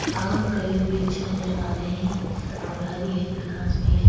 और कई वृक्ष नजर आ रहे हैं और हरी-हरी घास भी है।